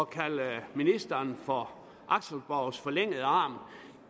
kalde ministeren for axelborgs forlængede arm